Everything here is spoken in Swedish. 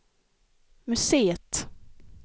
museet